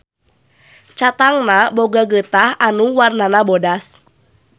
Catangna boga geutah anu warnana bodas.